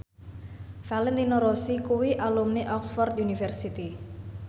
Valentino Rossi kuwi alumni Oxford university